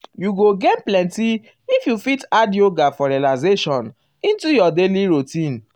you go gain plenty if you fit add um yoga for relaxation into your daily routine.